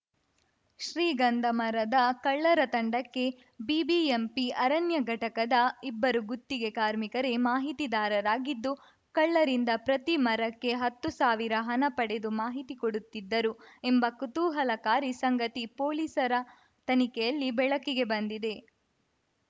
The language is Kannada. ಶ್ರೀಗಂಧ ಮರದ ಕಳ್ಳರ ತಂಡಕ್ಕೆ ಬಿಬಿಎಂಪಿ ಅರಣ್ಯ ಘಟಕದ ಇಬ್ಬರು ಗುತ್ತಿಗೆ ಕಾರ್ಮಿಕರೇ ಮಾಹಿತಿದಾರರಾಗಿದ್ದು ಕಳ್ಳರಿಂದ ಪ್ರತಿ ಮರಕ್ಕೆ ಹತ್ತು ಸಾವಿರ ಹಣ ಪಡೆದು ಮಾಹಿತಿ ಕೊಡುತ್ತಿದ್ದರು ಎಂಬ ಕುತೂಹಲಕಾರಿ ಸಂಗತಿ ಪೊಲೀಸರ ತನಿಖೆಯಲ್ಲಿ ಬೆಳಕಿಗೆ ಬಂದಿದೆ